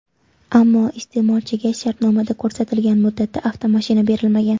Ammo iste’molchiga shartnomada ko‘rsatilgan muddatda avtomashina berilmagan.